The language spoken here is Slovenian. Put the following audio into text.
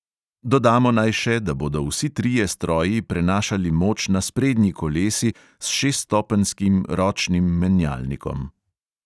Dodamo naj še, da bodo vsi trije stroji prenašali moč na sprednji kolesi s šeststopenjskim ročnim menjalnikom.